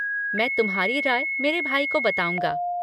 मैं तुम्हारी राय मेरे भाई को बताऊँगा।